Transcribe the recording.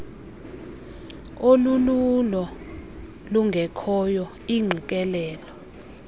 olululo lungekhoyo iingqikelelo